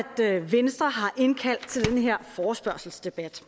venstre har indkaldt til den her forespørgselsdebat